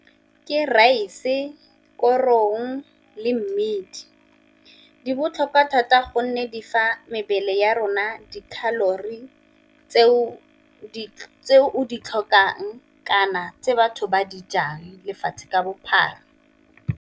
Ke rice, korong le mmidi di botlhokwa thata gonne di fa mebele ya rona tse o di tlhokang kana tse batho ba dijang lefatshe ka bophara.